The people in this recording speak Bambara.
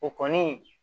O kɔni